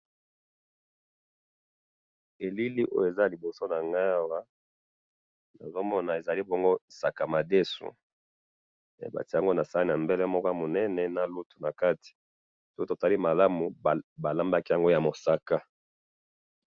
elili oyo eza liboso nanga awa nazo mona ezali bongo sakamadesu ba tie yango na saani ya mbelemoko ya munene na lutu na kati po to tali malamu ba lambi yango ya mosaka